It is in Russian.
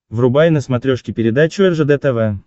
врубай на смотрешке передачу ржд тв